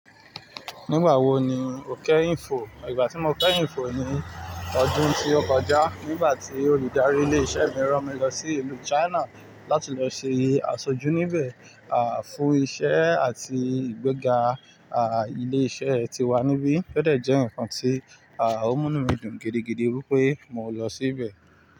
Nígbà wo ni o kẹ́ info? Ìgbà tí mo kẹ́yin fo ni ọdún tí ó kọjá, nígbà tí olùdarí ilé-iṣẹ́ mi rán mi lọ sí ìlú China láti lọ ṣe aṣojú níbẹ̀, à, fún iṣẹ́ àti ìgbéga, à, ilé-iṣẹ́ tiwa níbí. Ó dẹ̀ jẹ́ nǹkan tí, à, o munu mi dùn gidigidi wípé mọ lọ sí ibẹ̀.